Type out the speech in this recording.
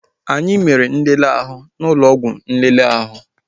Anyị mere nlele ahụ niile n'ụlọ ọgwụ nlele ahụ